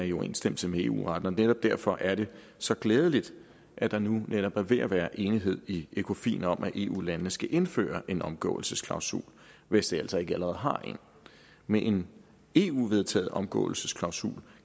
i overensstemmelse med eu retten og netop derfor er det så glædeligt at der netop nu er ved at være enighed i ecofin om at eu landene skal indføre en omgåelsesklausul hvis de altså ikke allerede har en med en eu vedtaget omgåelsesklausul